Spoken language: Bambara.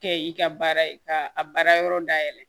Kɛ i ka baara ye ka a baara yɔrɔ dayɛlɛ